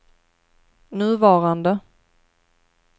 nuvarande